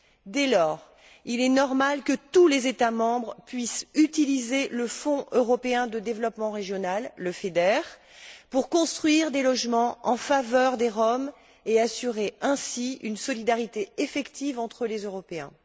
Dès lors, il est normal que tous les États membres puissent utiliser le Fonds européen de développement régional, le FEDER, pour construire des logements en faveur des Roms et assurer ainsi une solidarité effective entre les Européens.